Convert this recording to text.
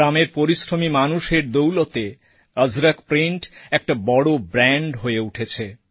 গ্রামের পরিশ্রমী মানুষের দৌলতে অজরক প্রিন্ট একটা বড় ব্র্যান্ড হয়ে উঠেছে